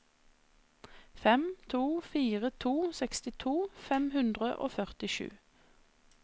fem to fire to sekstito fem hundre og førtisju